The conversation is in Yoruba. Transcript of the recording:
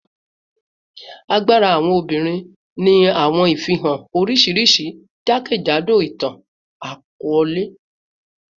Agbara awọn obinrin ni awọn ifihan oriṣiriṣi jakejado itan-akọọlẹ